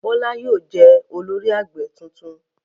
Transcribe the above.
Bọ́lá yóò jẹ́ olórí ẹgbẹ́ tuntun.